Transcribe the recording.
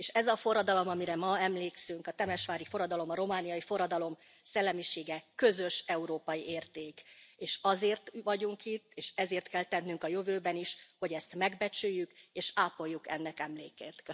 És ez a forradalom, amire ma emlékszünk, a temesvári forradalom, a romániai forradalom szellemisége közös európai érték, és azért vagyunk itt, és ezért kell tennünk a jövőben is, hogy ezt megbecsüljük, és ápoljuk ennek emlékét.